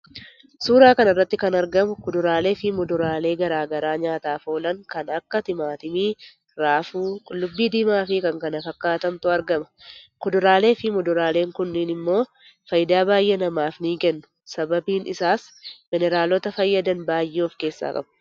Suura kanarratti kan argamu kuduraalee fi muduraale garaa garaa nyaataaf oolaan kan Akka timaatimii, raafu, qullubbi diimaa fi kan kana fakkatantu argama kuduraalee fi muduraalen kunnin immo faayida baay'ee namaaf ni kennu. Sababin isaas mineraalota fayyadan baay'ee of kessa qabu.